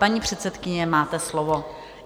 Paní předsedkyně, máte slovo.